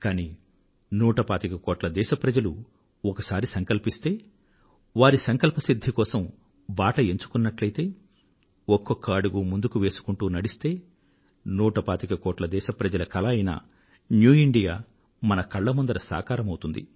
కానీ నూట పాతిక కోట్ల మంది దేశ ప్రజలు ఒకసారి సంకల్పిస్తే వారి సంకల్పసిధ్ధి కోసం బాట ఎంచుకున్నట్లయితే ఒక్కొక్క అడుగు ముందుకు వేసుకుంటూ నడిస్తే నూట పాతిక కోట్ల మంది దేశ ప్రజల కల అయిన న్యూ ఇండియా మన కళ్ల ముందర సాకారమౌతుంది